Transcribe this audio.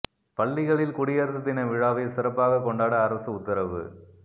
பள்ளிகளில் குடியரசு தின விழாவை சிறப்பாக கொண்டாட அரசு உத்தரவு